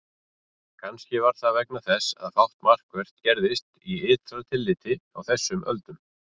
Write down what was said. Kannski var það vegna þess að fátt markvert gerðist í ytra tilliti á þessum öldum.